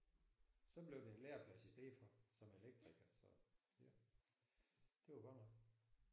Så blev det en læreplads i stedet for som elektriker så ja det var godt nok